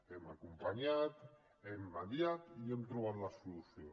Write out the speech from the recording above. hem acompanyat hem mediat i hem trobat la solució